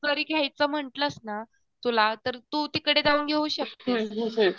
जरी घ्यायचं म्हण्टलंस ना, तुला तर तू तिकडे जाऊन घेऊ शकतेस